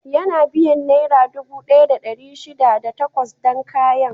Yana biyan Nera dubu ɗaya da ɗari shida da takwas dan kayan.